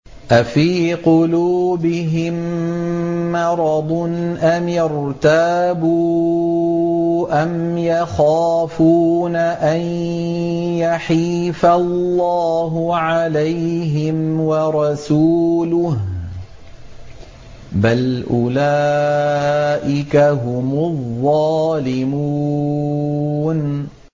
أَفِي قُلُوبِهِم مَّرَضٌ أَمِ ارْتَابُوا أَمْ يَخَافُونَ أَن يَحِيفَ اللَّهُ عَلَيْهِمْ وَرَسُولُهُ ۚ بَلْ أُولَٰئِكَ هُمُ الظَّالِمُونَ